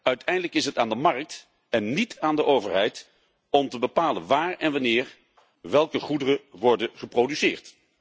Uiteindelijk is het aan de markt en niet aan de overheid om te bepalen waar en wanneer welke goederen worden geproduceerd.